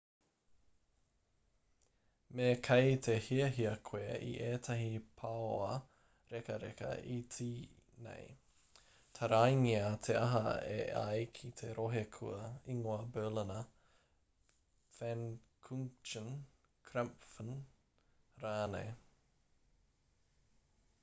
me kei te hiahia koe i ētahi paoa rekareka iti nei taraingia te aha e ai ki te rohe kua ingoa berliner pfannkuchen krapfen rānei